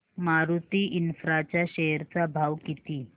Maruti infra च्या share चा भाव किती